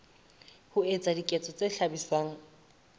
ho etsa diketso tse hlabisang